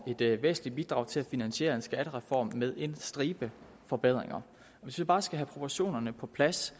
et væsentligt bidrag til at finansiere en skattereform med en stribe forbedringer hvis vi bare skal have proportionerne på plads